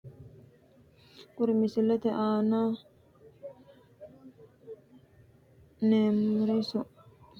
Kuri misilete aana`neemori sasunku mittu kolisho bolaale wodhewuhu mereeriha ispoorte losawoha kulani no ku`u kayini umoho shaarbe wodhewohu ganbeela ikasi anfoomo.